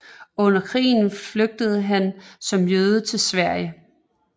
Under krigen flygtede han som jøde til Sverige